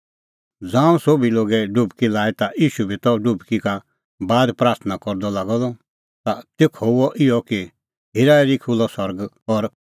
ज़ांऊं सोभी लोगै डुबकी लई ता ईशू बी त डुबकी का बाद प्राथणां करदअ लागअ द ता तेखअ हुअ इहअ कि हेराहेरी खुल्हअ सरग और